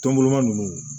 Tɔn boloma ninnu